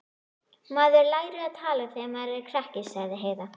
Maður lærir að tala þegar maður er krakki, sagði Heiða.